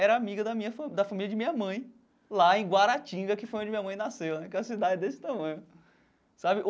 era amiga da minha fa da família de minha mãe, lá em Guaratinga, que foi onde minha mãe nasceu né, que é uma cidade desse tamanho sabe.